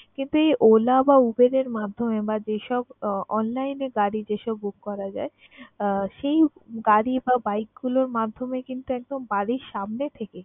কিন্তু এই OLA বা UBER এর মাধ্যমে বা যেসব online এ গাড়ি যেসব book করা যায় আহ সেই গাড়ি বা bike গুলোর মাধ্যমে কিন্তু একদম বাড়ির সামনে থেকে